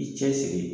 I cɛsiri